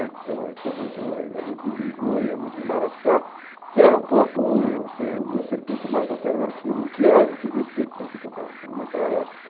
né Então, a gente ia muito ia muito no Biju, ia muito no Marachá, que era um pouco o assim o o circuito mais alternativo, o que era o que existia de circuito alternativo naquela época.